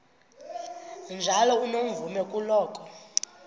njalo unomvume kuloko